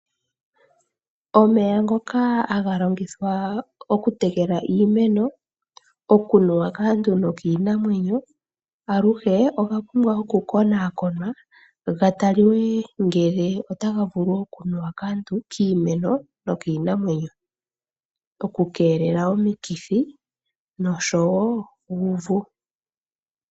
Omeya ngoka haga longithwa okutekela iimeno, okunuwa kaantu nokiinamwenyo aluhe oga pumbwa okukonaakonwa gataliwe ngele otaga vulu okunuwa kaantu, kiimeno nokiinamenyo, opo ku keelelwe omikithi.